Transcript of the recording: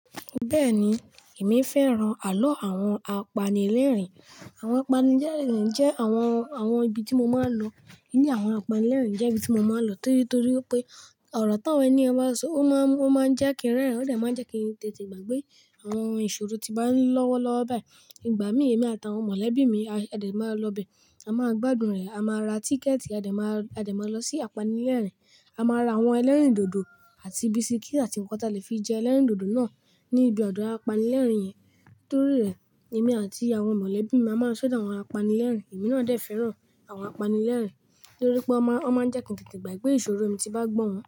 Bẹ́ẹ̀ni, èmi fẹ́ran àlọ́ àwọn apanilẹ́rìn-ín. Àwọn apanilẹ́rìn-ín jẹ́ àwọn, àwọn ibi tí mo máa ń lọ. Ní àwọn apanilẹ́rìn-ín jẹ́ ibi tí mo máa ń lọ torí torí pé ọ̀rọ̀ táwọn ẹniyàn bá ń sọ, ó máa ń, ó máa ń jẹ́ kí n rẹ́rìn-ín, ó dẹ̀ máa ń jẹ́ kí n tètè gbàgbé àwọn ìṣòro tí bá ń lọ́wọ́ lọ́wọ́ báyìí. Ìgbà mí, èmi àtàwọn mọ̀lẹ́bí mi a òde máa ń lọ bẹ, a máa gbádùn rẹ̀, a máa ra tíkẹ̀ẹ̀tì, a dè má, a dè máa lọ sí apanilẹ́rìn-ín, a máa ra àwọn ẹlẹ́rìndòdò àti bisikíìtì àti nǹkan tí a le fi jẹ ẹlẹ́rìndòdò náà ní ibi odó apanilẹ́rìn-ín yẹn. Torí rẹ̀, èmi àti àwọn mọ̀lẹ́bí mi a máa ń ṣọdo àwọn apanilẹ́rìn-ín. Èmi náà dẹ̀ fẹ́ràn àwọn apanilẹ́rìn-ín torí pé wọ́n máa ń, wọ́n máa ń jẹ́ kí n tètè gbàgbé ìṣòro mi tí bá gbọ́ wọn.